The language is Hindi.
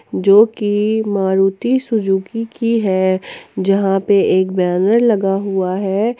जो की मारुति सुजुकी की है जहां पे एक बैनर लगा हुआ है।